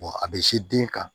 a bɛ se den kan